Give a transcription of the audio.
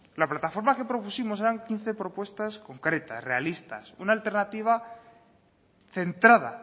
la plataforma que propusimos eran quince propuestas concretas realistas una alternativa centrada